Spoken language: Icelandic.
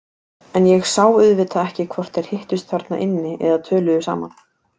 En ég sá auðvitað ekki hvort þeir hittust þarna inni eða töluðu saman.